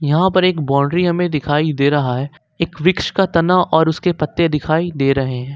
यहां पर एक बाउंड्री हमें दिखाई दे रहा है एक वृक्ष का तना और उसके पत्ते दिखाई दे रहे हैं।